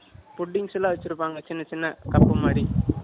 Puddings எல்லாம் வச்சிருப்பாங்க. சின்ன, சின்ன cup மாதிரி